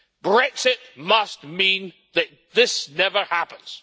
Brexit must mean that this never happens.